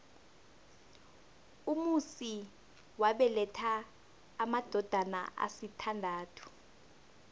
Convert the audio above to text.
umusi wabeletha amadodana asithandathu